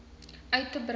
uit te brei